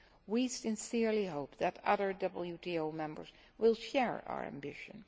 We sincerely hope that other WTO members will share our ambition.